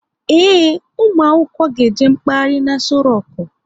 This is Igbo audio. Ee, ụmụ akwụkwọ ga eje mkpaghari n'Aso roku